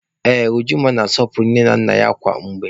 Ee, Ujunwa na-asọpụrụ nne na nna ya kwa mgbe